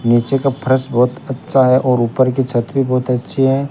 नीचे का फर्श बहोत अच्छा है और ऊपर की छत भी बहोत अच्छी है।